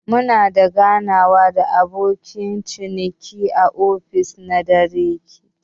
Muna da ganawa da abokan ciniki a ofis na darekta.